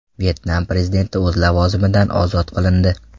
Vyetnam prezidenti o‘z lavozimidan ozod qilindi.